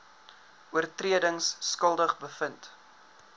oortredings skuldig bevind